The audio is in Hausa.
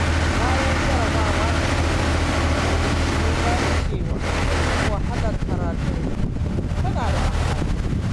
Bayan jarrabawa ta ƙarshe, sun gane cewa duk wahalar karatu tana da amfani.